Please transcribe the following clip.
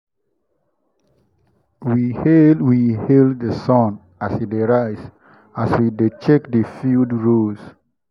we hail we hail the sun as e dey rise as we dey check the field rows.